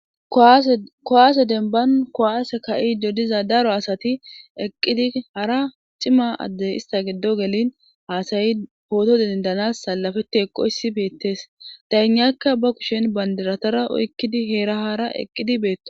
Kuwaase denban kowaase ka'idi diza daro asati eqqidi hara ciima addey ista giddo gelin haasayi pooto dindanas salafeti eqoyssi beettes daynakka ba kushen bandiratara oykkidi heera hara eqqidi beettosona